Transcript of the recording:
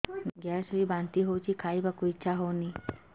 gas ହୋଇ ବାନ୍ତି ହଉଛି ଖାଇବାକୁ ଇଚ୍ଛା ହଉନି